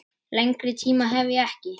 Lengri tíma hef ég ekki.